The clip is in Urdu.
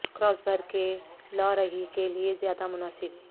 کراس بھر کے لا رہی کے لئے زیادہ مناسب